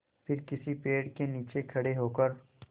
फिर किसी पेड़ के नीचे खड़े होकर